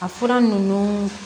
A fura ninnu